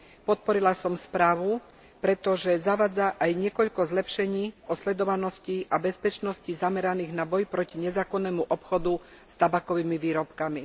Podporila som správu, pretože zavádza aj niekoľko zlepšení osledovanosti a bezpečnosti zameraných na boj proti nezákonnému obchodu stabakovými výrobkami.